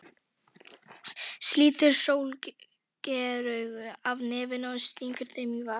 Slítur sólgleraugun af nefinu og stingur þeim í vasann.